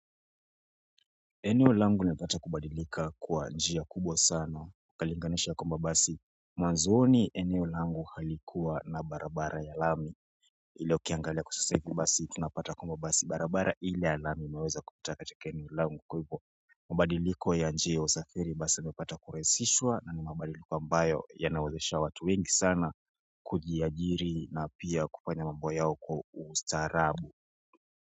Eneo langu linapata kubadilika kwa njia kubwa sana, ukalinganisha kwamba basi mwanzoni eneo langu halikuwa na barabara ya lami ila ukiangalia kwa sasa hivi basi, tunapata kwamba basi barabara ile ya lami imeweza kupita katika eneo langu kwa hivo mabadiliko ya njia ya usafiri basi imepata kurahisishwa na ni mabadiliko ambayo yanawazesha watu wengi sana kujiajiri na pia kufanya mambo yao kwa ustarabu.